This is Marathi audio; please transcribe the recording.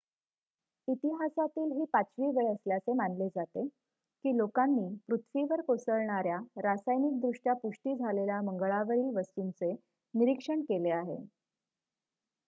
इतिहासातील ही पाचवी वेळ असल्याचे मानले जाते की लोकांनी पृथ्वीवर कोसळणार्‍या रासायनिकदृष्ट्या पुष्टी झालेल्या मंगळावरील वस्तूंचे निरीक्षण केले आहे